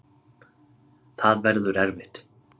Það verður erfitt.